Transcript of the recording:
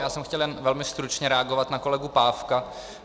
Já jsem chtěl jenom velmi stručně reagovat na kolegu Pávka.